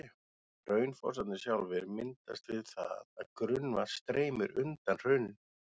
Hraunfossarnir sjálfir myndast við það að grunnvatn streymir undan hrauninu.